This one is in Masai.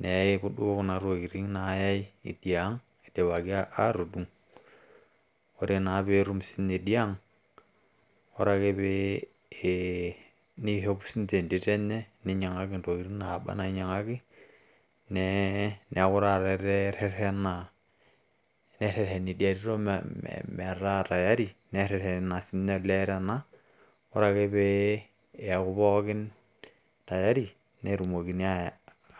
neyai duo kuna tokiting naayai idia ang idipaki naa aatudung. Ore naa pee etum siininye idia ang, ore ake pee eeh, neishop sii ninche entito enye ninyiang`aki ntokitin naaba na ninyiang`aki nee niaku taata etaa eteretena. Nerreteni idia tito metaa tayari nereetena sii ninye olee tena, ore ake pee eeku pookin tayari netumokini